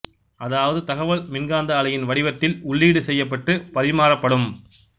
அதாவது தகவல் மின்காந்த அலையின் வடிவத்தில் உள்ளீடு செய்யப்பட்டு பரிமாறப்படும்